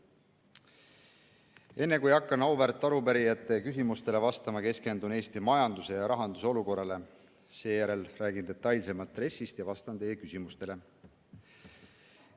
Enne, kui hakkan auväärt arupärijate küsimustele vastama, keskendun Eesti majanduse ja rahanduse olukorrale, seejärel räägin detailsemalt RES‑ist ja vastan teie küsimustele.